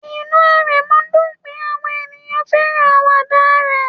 Inú Aremu dùn pé àwọn ènìyàn fẹ́ràn àwàdà rẹ̀